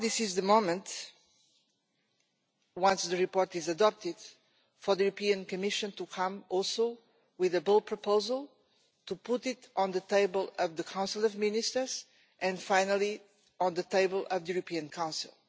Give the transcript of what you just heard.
Now is the moment, once the report is adopted, for the Commission to come also with a bold proposal, to put it on the table at the Council of Ministers, and finally on the table of the European Council.